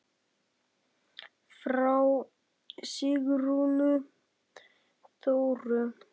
Frá Sigrúnu Þóru.